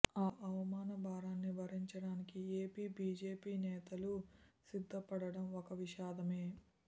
ఆ అవమాన భారాన్ని భరించడానికి ఏపీ బీజేపీ నేతలు సిద్ధపడడం ఒక విషాదమే